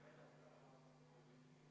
Aitäh!